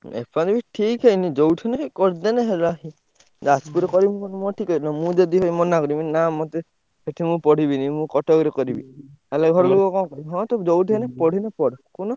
ଏପଟେ ବି ଠିକ୍ ହେଇନି ଯୋଉଠି ନାହିଁ କରିଦେଲେ ହେଲା। ଯାଜପୁରରେ କରିବି ନହେଲେ ମୋର ମୁଁ ଯଦି ମନା କରିବି ନା ମତେ ଏଠି ମୁଁ ପଢିବିନି। ମୁଁ କଟକରେ କରିବି ତାହେଲେ ଘର ଲୋକ କଣ କହିବେ ହଁ ତୁ ଯୋଉଠି ହେଲେ ପଢିଲେ ପଢ କହୁନ।